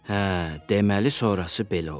Hə, deməli, sonrası belə oldu.